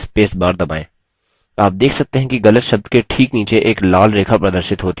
आप देख सकते हैं कि गलत शब्द के ठीक नीचे एक लाल रेखा प्रदर्शित होती है